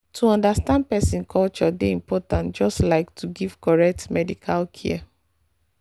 to understand person culture dey important just like to give correct medical care.